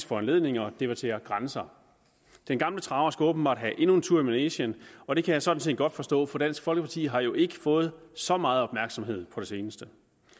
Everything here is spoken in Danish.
foranledning og debatterer grænser den gamle traver skal åbenbart have endnu en tur i manegen og det kan jeg sådan set godt forstå for dansk folkeparti har jo ikke fået så meget opmærksomhed på det seneste